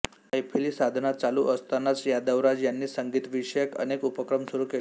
मैफिली साधना चालू असतानाच यादवराज यांनी संगीतविषयक अनेक उपक्रम सुरू केले